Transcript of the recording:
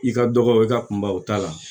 I ka dɔgɔ i ka kunba o ta la